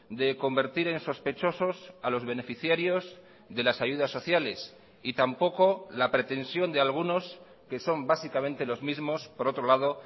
de convertir en sospechosos a los beneficiarios de las ayudas sociales y tampoco la pretensión de algunos que son básicamente los mismos por otro lado